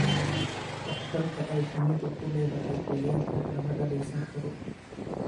Waxtarka ay shinnidu ku leedahay deegaanka lama dhayalsan karo.